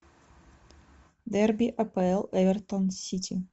дерби апл эвертон сити